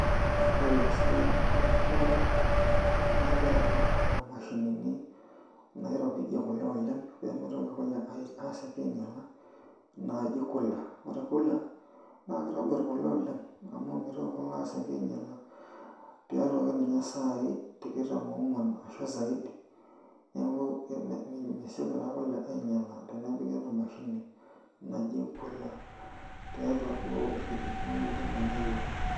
Ore tesiai oonkishu ekule naa kiata kuna mashinini naairopijie kule oleng' pee mitoki kule aasioki ainyiala naaji cooler, ore cooler naa kitobirr kule oleng' amu mitoki kule aasioki ainyiala tiatua ake ninye isaai tikitam oongwan ashu zaidi neeku mesioki taa kule ainyiala tenepiki ena mashini naji cooler tiatua duo irkijijini likimanya iyiook.